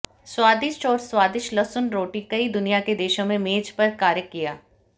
स्वादिष्ट और स्वादिष्ट लहसुन रोटी कई दुनिया के देशों में मेज पर कार्य किया